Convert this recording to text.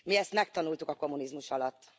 Mi ezt megtanultuk a kommunizmus alatt.